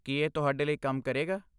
ਕੀ ਇਹ ਤੁਹਾਡੇ ਲਈ ਕੰਮ ਕਰੇਗਾ?